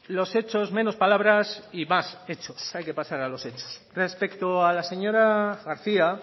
los hechos menos palabras y más hechos hay que pasar a los hechos respecto a la señora garcía